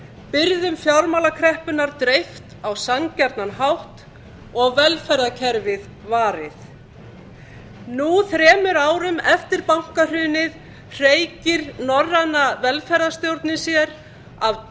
byrðum fjármálakreppunnar dreift á sanngjarnan hátt og velferðarkerfið varið nú þremur árum eftir bankahrunið hreykir norræna velferðarstjórnin sér af